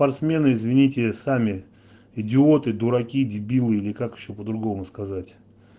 спортсмены извините сами идиоты дураки дебилы или как ещё по-другому сказать